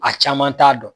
A caman t'a dɔn